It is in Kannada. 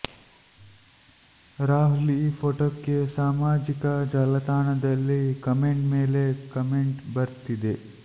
ರಾಹುಲ್ ಈ ಫೋಟೋಕ್ಕೆ ಸಾಮಾಜಿಕ ಜಾಲತಾಣದಲ್ಲಿ ಕಮೆಂಟ್ ಮೇಲೆ ಕಮೆಂಟ್ ಬರ್ತಿದೆ